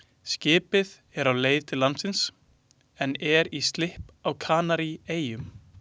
Skipið er á leið til landsins en er í slipp á Kanaríeyjum.